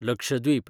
Lakshadweep